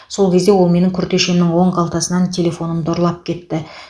сол кезде ол менің күртешемнің оң қалтасынан телефонымды ұрлап кетті